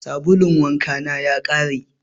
Sabulun wanka ya ƙare.